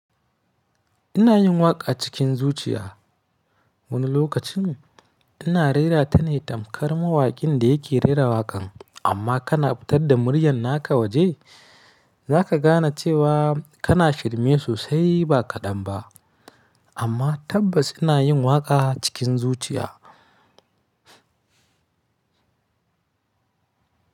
Ina yin waƙa cikin zuciya. Wani lokacin ina rera tana tamkar mawaƙin da yake rera waƙan, amma kana fitar da muryar naka waje, za ka gane cewa kana shirme sosai ba kaɗan ba. Amma tabbas ina yin waƙa cikin zuciya.